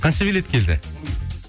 қанша билет келді